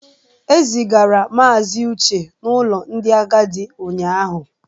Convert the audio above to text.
E zigara Maazị Uche n'ụlọ ndị agadi ụnyahụ.